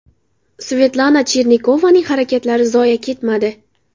Svetlana Chernikovaning harakatlari zoye ketmadi.